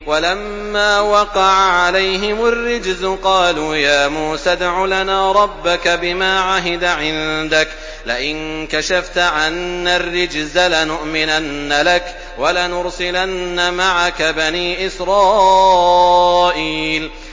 وَلَمَّا وَقَعَ عَلَيْهِمُ الرِّجْزُ قَالُوا يَا مُوسَى ادْعُ لَنَا رَبَّكَ بِمَا عَهِدَ عِندَكَ ۖ لَئِن كَشَفْتَ عَنَّا الرِّجْزَ لَنُؤْمِنَنَّ لَكَ وَلَنُرْسِلَنَّ مَعَكَ بَنِي إِسْرَائِيلَ